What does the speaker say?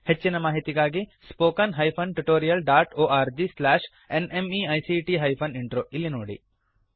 ಹೆಚ್ಚಿನ ಮಾಹಿತಿಗಾಗಿ spoken hyphen tutorial dot org slash NMEICT hyphen intro ಇಲ್ಲಿ ನೋಡಿ